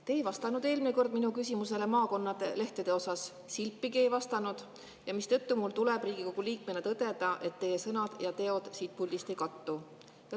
Te ei vastanud eelmine kord minu küsimusele maakonnalehtede kohta – silpigi ei vastanud –, mistõttu mul tuleb Riigikogu liikmena tõdeda, et teie sõnad siin puldis ja teod ei kattu.